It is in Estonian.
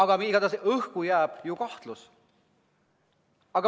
Aga õhku jääb kahtlus.